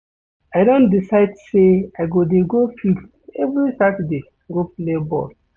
I don decide sey I go dey go field every Saturday go play ball.